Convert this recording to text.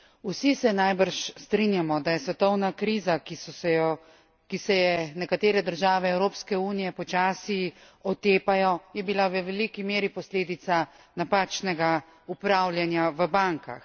Vsi se najbrž strinjamo, da je svetovna kriza, ki se je nekatere države Evropske unije počasi otepajo, je bila v veliki meri posledica napačnega upravljanja v bankah.